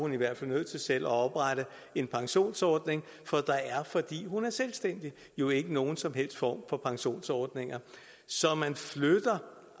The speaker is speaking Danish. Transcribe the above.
i hvert fald nødt til selv at oprette en pensionsordning for der er fordi hun er selvstændig jo ikke nogen som helst former for pensionsordninger så man flytter